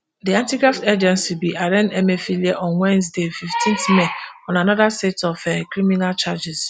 di antigraft agency bin arraign emefiele on wednesday fifteen may on anoda set of um criminal charges